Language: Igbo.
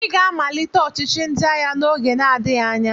Ị ga-amalite ọchịchị ndị agha n'oge na-adịghị anya!